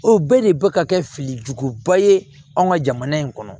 O bɛɛ de bɛ ka kɛ fili juguba ye anw ka jamana in kɔnɔ